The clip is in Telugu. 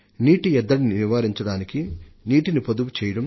జల సంరక్షణ కోసం ప్రతి ఒక్క నీటి చుక్కను దాచుకోవాలి